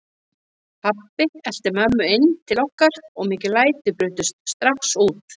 Pabbi elti mömmu inn til okkar og mikil læti brutust strax út.